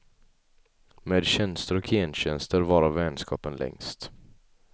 Med tjänster och gentjänster varar vänskapen längst.